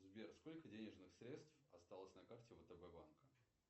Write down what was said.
сбер сколько денежных средств осталось на карте втб банка